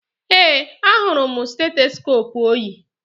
Ee, ahụrụ m stetoskoopu o yi